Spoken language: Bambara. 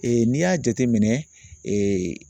n'i y'a jateminɛ